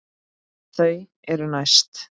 Þau eru næst.